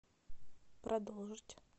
продолжить